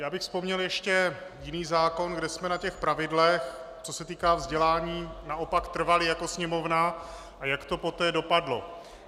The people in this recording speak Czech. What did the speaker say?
Já bych vzpomněl ještě jiný zákon, kde jsme na těch pravidlech, co se týká vzdělání, naopak trvali jako Sněmovna, a jak to poté dopadlo.